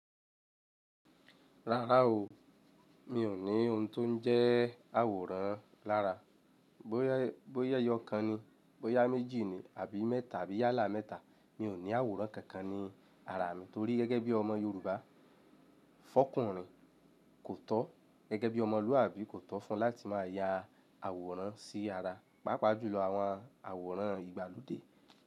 Rárá o, mi ò ní ohun tó ń jẹ́ àwòrán lára. Bóyà ẹyọ kan ni, bóyá méjì ni àbí mẹ́ta àbí yálà mẹ́ta, mi ò ní àwòrán kankan ní ara mi torí gẹ́gẹ́ bí ọmọ Yorùbá, fọ́kùnrin kò tọ́, gẹ́gẹ́ bí ọmọlúàbí kò tọ́ fún láti máa ya àwòrán sí ara, pàápàá jùlọ àwọn àwòrán ìgbàlódé.